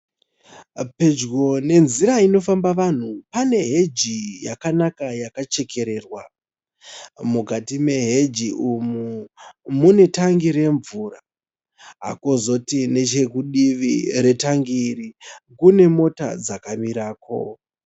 Pedyo nenzira inofamba vanhu paneheji yakanaka yakachererwa. Mukati meheji umu mune tangi remvura kozoti nechekudivi kwetangi iri kune mota dzakamirako.